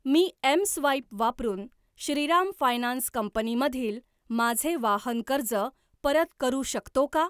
मी mSwipe वापरून Shriram finance company मधील माझे वाहन कर्ज परत करू शकतो का?